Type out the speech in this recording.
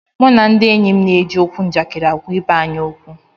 Mụ na ndị enyi m na-eji okwu njakịrị agwa ibe anyị okwu